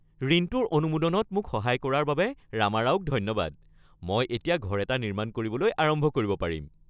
ঋণটোৰ অনুমোদনত মোক সহায় কৰাৰ বাবে ৰামাৰাওক ধন্যবাদ। মই এতিয়া ঘৰ এটা নিৰ্মাণ কৰিবলৈ আৰম্ভ কৰিব পাৰিম।